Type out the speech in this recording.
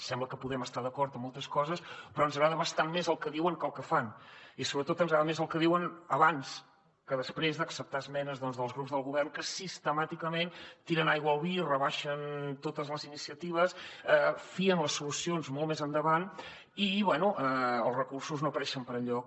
sembla que podem estar d’acord en moltes coses però ens agrada bastant més el que diuen que el que fan i sobretot ens agrada més el que diuen abans que després d’acceptar esmenes doncs dels grups del govern que sistemàticament tiren aigua al vi rebaixen totes les iniciatives fien les solucions molt més endavant i bé els recursos no apareixen per enlloc